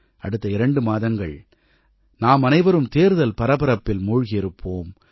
அடுத்த இரண்டு மாதங்கள் நாமனைவரும் தேர்தல் பரபரப்பில் மூழ்கியிருப்போம்